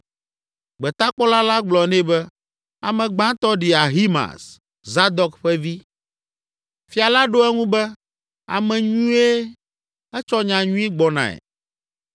Gbetakpɔla la gblɔ nɛ be, “Ame gbãtɔ ɖi Ahimaaz, Zadok ƒe vi.” Fia la ɖo eŋu be, “Ame nyuie; etsɔ nya nyui gbɔnae.”